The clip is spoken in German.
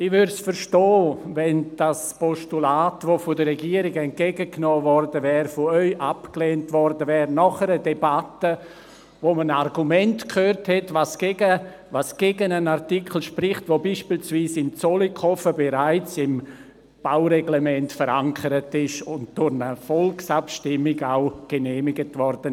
Ich hätte verstanden, wenn das Postulat, das von der Regierung entgegengenommen worden wäre, von Ihnen nach einer Debatte abgelehnt worden wäre, in der man Argumente gehört hätte, was gegen einen Artikel spricht, der beispielsweise in Zollikofen bereits im Baureglement verankert ist und durch eine Volkabstimmung genehmigt wurde.